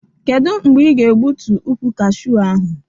Kedụ mgbe ị ga egbutu ụkwụ kashew ahụ?